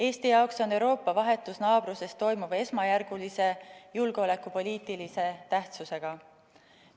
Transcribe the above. Eesti jaoks on Euroopa vahetus naabruses toimuv esmajärgulise julgeolekupoliitilise tähtsusega.